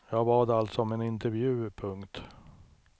Jag bad alltså om en intervju. punkt